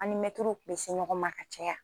An mɛtiriw kun bɛ se ɲɔgɔn ma ka caya,